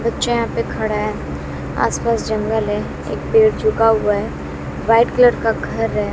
बच्चा यहां पे खड़ा है। आस पास जंगल हैं एक पेड़ झुका हुआ है। व्हाईट कलर का घर है।